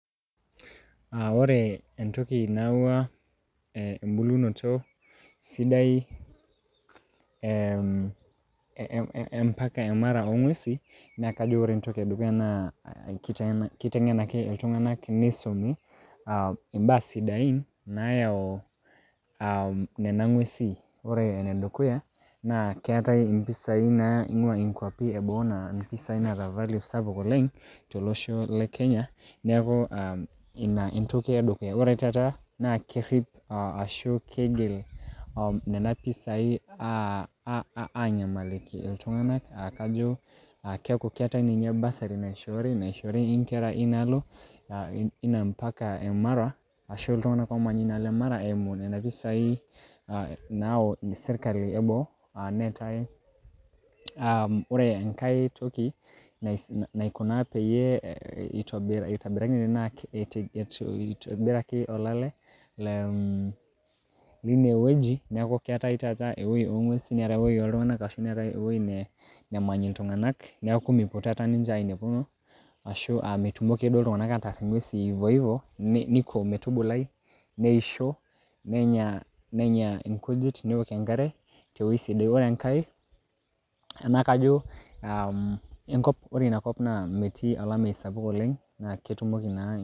Ah ore entoki naawua eh ebulunoto sidai eh epak e mara ong'uesi, na kajo ore entoki edukuya na kiteng'enaki iltung'anak neisumi, ah imbaa sidain nayau um nena ng'uesin. Ore enedukuya, na keetae impisai naing'ua ikwapi eboo na impisai naata value sapuk oleng',tolosho le kenya, neeku um ina entoki edukuya. Ore taata, na kerrip ashu keigil nena pisai a nyamaliki iltung'anak ah kajo, keku keetae ninye bursary naishoori naishori inkera inaalo, ina mpaka e mara ashu iltung'anak omanya inaalo e mara eimu nena pisai nayau sirkali eboo, netae. Ore enkae toki naikuna peyie itobiraki olale, le um line wueji, neeku keetae taata ewueji o ng'uesin neetae ewueji oltung'anak, ashu neetae ewueji nemany iltung'anak, neeku mepuo taata ninche ainepuno, ashu a metumoki ake duo iltung'anak ataar ing'uesin ivo ivo ,niko metubulai, neisho, nenya inkujit, neok enkare tewoi sidai. Ore enkae na kajo metii inakop olameyu sapuk oleng' neku ketumoki na.